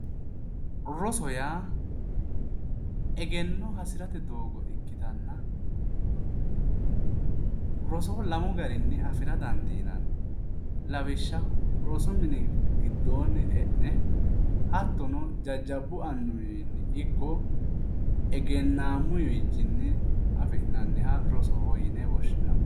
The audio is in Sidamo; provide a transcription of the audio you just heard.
Roso yaa egenno hasirate doogo ikkitanna roso lamu garinni afira dandiinanni lawishsha rosu mini giddoonni e'ne hattono jajjabbu annuwi wiinnino ikko egennammuwiichcinni afi'nanniha rosoho yine woshshinanni